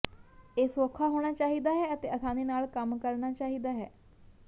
ਇਹ ਸੌਖਾ ਹੋਣਾ ਚਾਹੀਦਾ ਹੈ ਅਤੇ ਆਸਾਨੀ ਨਾਲ ਕੰਮ ਕਰਨਾ ਚਾਹੀਦਾ ਹੈ